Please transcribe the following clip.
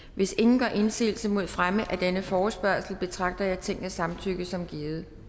hvis ingen gør indsigelse mod fremme af denne forespørgsel betragter jeg tingets samtykke som givet